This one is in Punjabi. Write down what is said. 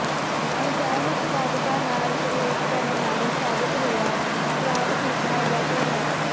ਅਣਜਾਣ ਉਤਪਾਦਕਾਂ ਨਾਲ ਪ੍ਰਯੋਗ ਕਰਨ ਨਾਲੋਂ ਸਾਬਤ ਹੋਇਆ ਬ੍ਰਾਂਡ ਖਰੀਦਣਾ ਬਿਹਤਰ ਹੈ